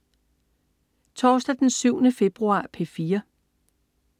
Torsdag den 7. februar - P4: